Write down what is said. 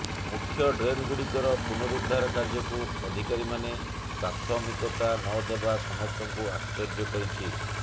ମୁଖ୍ୟ ଡ୍ରେନ୍ଗୁଡ଼ିକର ପୁନରୁଦ୍ଧାର କାର୍ଯ୍ୟକୁ ଅଧିକାରୀମାନେ ପ୍ରାଥମିକତା ନ ଦେବା ସମସ୍ତଙ୍କୁ ଆଶ୍ଚର୍ଯ୍ୟ କରିଛି